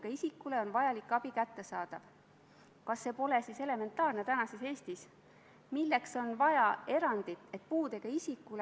Riigikaitsekomisjonis oli otsus üksmeelne, seda eelnõu toetatakse, ka teie erakonna liikmed väga palavalt seda eelnõu toetasid.